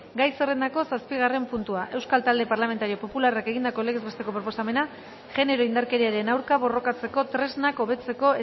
gai zerrendako zazpigarren puntua euskal talde parlamentario popularrak egindako legez besteko proposamena genero indarkeriaren aurka borrokatzeko tresnak hobetzeko